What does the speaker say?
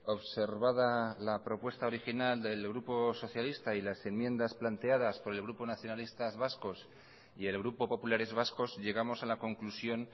observada la propuesta original del grupo socialista y las enmiendas planteadas por el grupo nacionalistas vascos y el grupo populares vascos llegamos a la conclusión